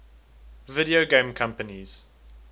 video game companies